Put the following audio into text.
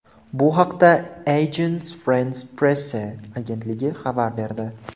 Bu haqda Agence France-Presse agentligi xabar berdi .